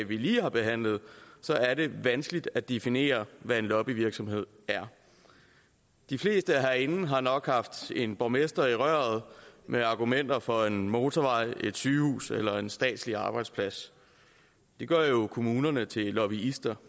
vi lige har behandlet så er det vanskeligt at definere hvad en lobbyvirksomhed er de fleste herinde har nok haft en borgmester i røret med argumenter for en motorvej et sygehus eller en statslig arbejdsplads det gør jo så kommunerne til lobbyister